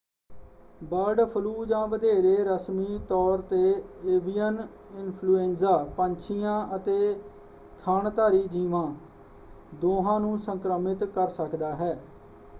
Bird flu ਜਾਂ ਵਧੇਰੇ ਰਸਮੀ ਤੌਰ 'ਤੇ ਏਵੀਅਨ ਇਨਫਲੂਐਂਜ਼ਾ ਪੰਛੀਆਂ ਅਤੇ ਥਣਧਾਰੀ ਜੀਵਾਂ ਦੋਹਾਂ ਨੂੰ ਸੰਕ੍ਰਮਿਤ ਕਰ ਸਕਦਾ ਹੈ।